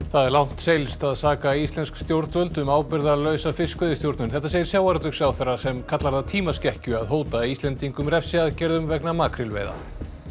það er langt seilst að saka íslensk stjórnvöld um ábyrgðarlausa fiskveiðistjórnun þetta segir sjávarútvegsráðherra sem kallar það tímaskekkju að hóta Íslendingum refsiaðgerðum vegna makrílveiða